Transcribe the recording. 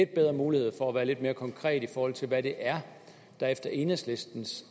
bedre mulighed for at være lidt mere konkret i forhold til hvad det er der efter enhedslistens